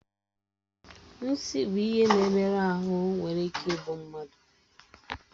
Nsi bụ ihe na-emerụ ahụ nwere ike igbu mmadụ